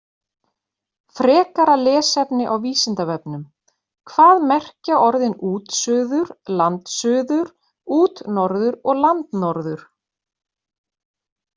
Frekara lesefni á Vísindavefnum: Hvað merkja orðin útsuður, landsuður, útnorður og landnorður?